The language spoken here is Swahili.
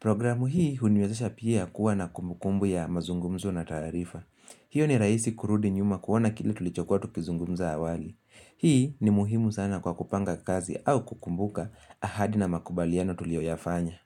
programu hii huniwezesha pia kuwa na kumbukumbu ya mazungumzo na taarifa hiyo ni rahisi kurudi nyuma kuona kile tulichokuwa tukizungumza awali hii ni muhimu sana kwa kupanga kazi au kukumbuka ahadi na makubaliano tulio yafanya.